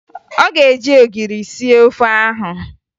Ọ ga-eji ogiri sie ofe ahụ